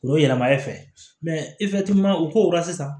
O ye yɛlɛma e fɛ mɛ i bɛ u ko la sisan